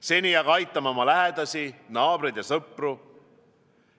Seni aga aitame oma lähedasi, naabreid ja sõpru!